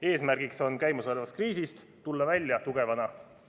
Eesmärk on käimasolevast kriisist tulla välja tugevana.